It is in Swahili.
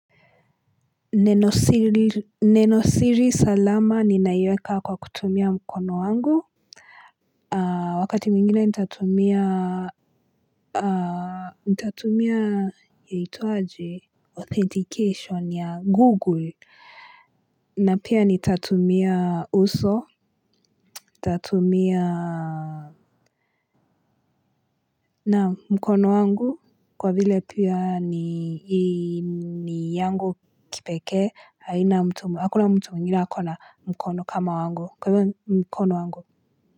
Neno siri salama ninaiweka kwa kutumia mkono wangu wakati mwingine nitatumia nitatumia yaitwaje authentication ya google na pia nitatumia uso nitatumia naam mkono wangu kwa vile pia ni yangu kipekee haina mtu, hakuna mtu mwingine akona mkono kama wangu, kwa hivyo mkono wangu.